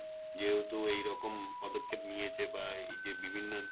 যেহেতু এইরকম পদক্ষেপ নিয়েছে বা এইযে বিভিন্ন